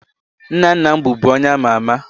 Nna nna m bụbu onye ama ama